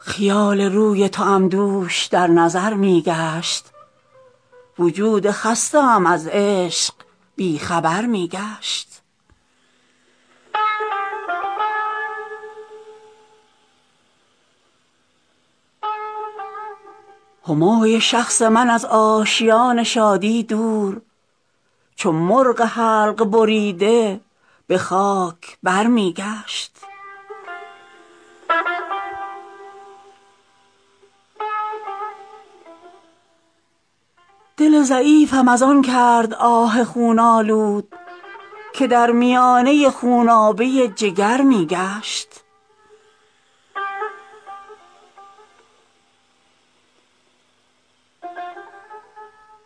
خیال روی توام دوش در نظر می گشت وجود خسته ام از عشق بی خبر می گشت همای شخص من از آشیان شادی دور چو مرغ حلق بریده به خاک بر می گشت دل ضعیفم از آن کرد آه خون آلود که در میانه خونابه جگر می گشت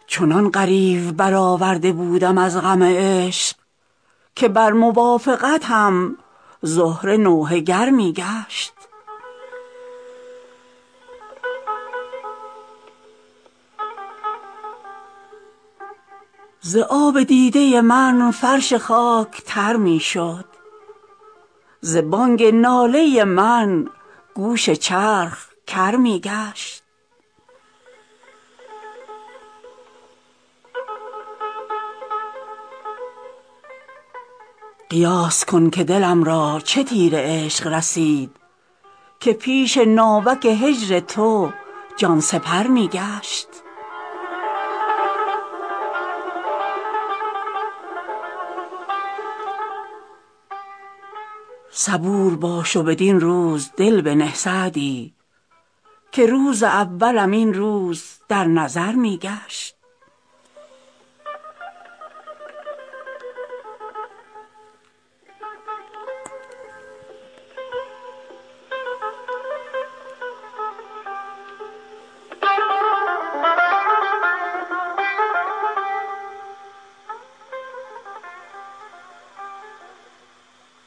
چنان غریو برآورده بودم از غم عشق که بر موافقتم زهره نوحه گر می گشت ز آب دیده من فرش خاک تر می شد ز بانگ ناله من گوش چرخ کر می گشت قیاس کن که دلم را چه تیر عشق رسید که پیش ناوک هجر تو جان سپر می گشت صبور باش و بدین روز دل بنه سعدی که روز اولم این روز در نظر می گشت